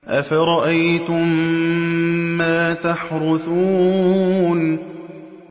أَفَرَأَيْتُم مَّا تَحْرُثُونَ